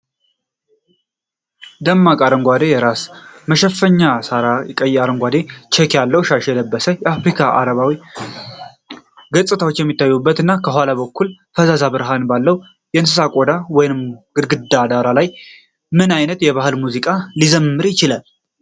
ደማቅ አረንጓዴ የራስ መሸፈኛ (ሳሪ) እና ቀይ-አረንጓዴ ቼክ ያለው ሻሽ የለበሰ፣ በአፍሪካዊ-አረባዊ ገፅታዎች የሚታወቅ እና ከኋላ በኩል ፈዛዛ ብርሃን ባለው የእንስሳት ቆዳ (ወይንም በግድግዳ) ዳራ ላይ ነው። ምን አይነት ባህላዊ ሙዚቃ ሊዘምር ይችላል?